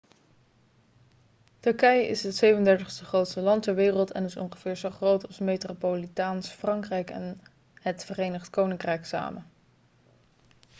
turkije is het 37e grootste land ter wereld en is ongeveer zo groot als metropolitaans frankrijk en het verenigd koninkrijk samen